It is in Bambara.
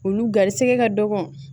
Olu garisɛgɛ ka dɔgɔn